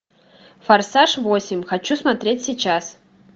форсаж восемь хочу смотреть сейчас